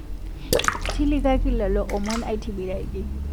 Tilikaki lolo omon aitibiraki